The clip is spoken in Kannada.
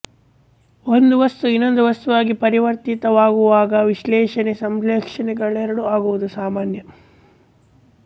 ಒಂದು ವಸ್ತು ಇನ್ನೊಂದು ವಸ್ತುವಾಗಿ ಪರಿವರ್ತಿತವಾಗುವಾಗ ವಿಶ್ಲೇಷಣೆ ಸಂಶ್ಲೇಷಣೆಗಳೆರಡೂ ಆಗುವುದು ಸಾಮಾನ್ಯ